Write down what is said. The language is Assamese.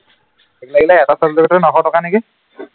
মোক লাগিলে এটা subject তে নশ টকা নিকি